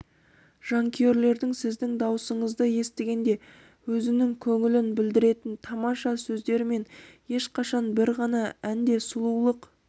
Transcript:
жанкүйерлердің сіздің даусыңызды естігенде өзінің көңілін білдіретін тамаша сөздері мен ешқашан бір ғана әнде сұлулық